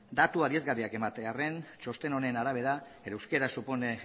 datu adierazgarriak ematearren txosten honen arabera el euskera supone